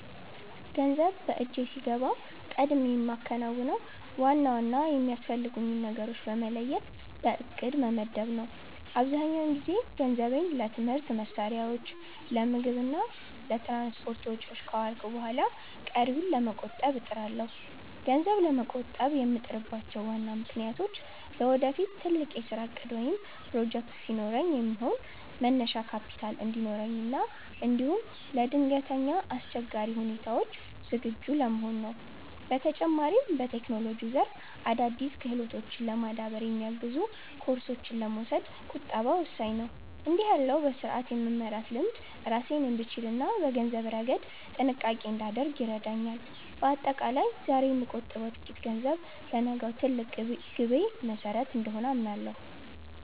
ገንዘብ በእጄ ሲገባ ቀድሜ የማከናውነው ዋና ዋና የሚያስፈልጉኝን ነገሮች በመለየት በዕቅድ መመደብ ነው። አብዛኛውን ጊዜ ገንዘቤን ለትምህርት መሣሪያዎች፣ ለምግብ እና ለትራንስፖርት ወጪዎች ካዋልኩ በኋላ ቀሪውን ለመቆጠብ እጥራለሁ። ገንዘብ ለመቆጠብ የምጥርባቸው ዋና ምክንያቶች ለወደፊት ትልቅ የሥራ ዕቅድ ወይም ፕሮጀክት ሲኖረኝ የሚሆን መነሻ ካፒታል እንዲኖረኝ እና እንዲሁም ለድንገተኛ አስቸጋሪ ሁኔታዎች ዝግጁ ለመሆን ነው። በተጨማሪም፣ በቴክኖሎጂው ዘርፍ አዳዲስ ክህሎቶችን ለማዳበር የሚያግዙ ኮርሶችን ለመውሰድ ቁጠባ ወሳኝ ነው። እንዲህ ያለው በሥርዓት የመመራት ልምድ ራሴን እንድችልና በገንዘብ ረገድ ጥንቃቄ እንዳደርግ ይረዳኛል። በአጠቃላይ፣ ዛሬ የምቆጥበው ጥቂት ገንዘብ ለነገው ትልቅ ግቤ መሠረት እንደሆነ አምናለሁ።